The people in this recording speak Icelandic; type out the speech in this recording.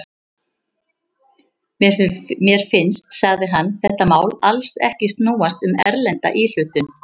Mér finnst, sagði hann, þetta mál alls ekki snúast um erlenda íhlutun.